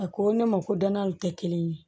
A ko ne ma ko dananw tɛ kelen ye